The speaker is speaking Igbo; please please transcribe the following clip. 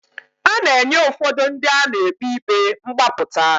A na-enye ụfọdụ ndị a na-ekpe ikpe mgbapụta.